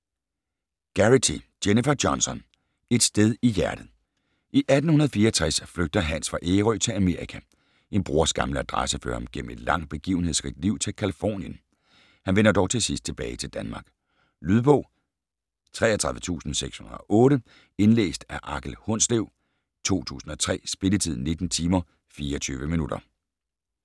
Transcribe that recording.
Garrity, Jennifer Johnson: Et sted i hjertet I 1864 flygter Hans fra Ærø til Amerika. En brors gamle adresse fører ham gennem et langt begivenhedsrigt liv til Californien. Han vender dog til sidst tilbage til Danmark. Lydbog 33608 Indlæst af Akel Hundslev, 2003. Spilletid: 19 timer, 24 minutter.